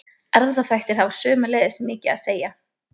erfðaþættir hafa sömuleiðis mikið að segja